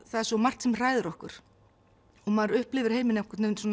það er svo margt sem hræðir okkur og maður upplifir heiminn á